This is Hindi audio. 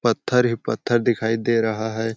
पत्थर ही पत्थर दिखाई दे रहा है।